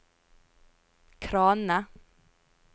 kranene